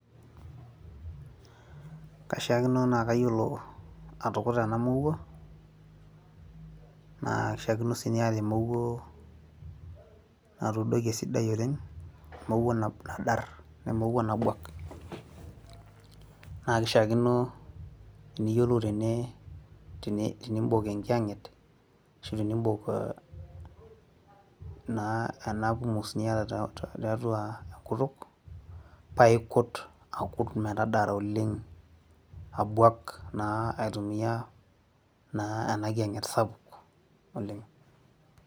kaishaakino naa kayiolo atukuta ena mowuo, naa kishaakino sii niata emowuo natuudoki oleng',emowuo nadar, emowuo nabuak, naa kishaakino eniyiolou tene ibok enkiyang'etashu enibok naa enapumus niata tiatua enkutuk. paa ikut akut metadara oleng, akut aitumia enkiyang'et sapuk metabuaa oleng.